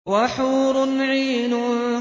وَحُورٌ عِينٌ